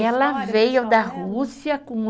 Ela veio da Rússia com o